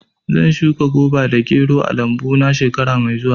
Zan shuka goba da gero a lambu na shekara mai zuwa.